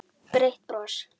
Breitt bros.